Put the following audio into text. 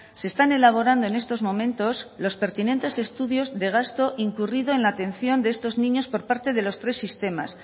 se están elaborando en estos momentos los pertinentes estudios de gasto incurrido en la atención de estos niños por parte de los tres sistemas